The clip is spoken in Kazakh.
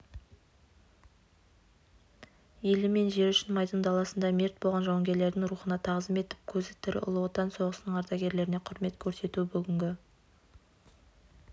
елі мен жері үшін майдан даласында мерт болған жауынгелердің рухына тағзым етіп көзі тірі ұлы отан соғысының ардагерлеріне құрмет көрсету бүгінгі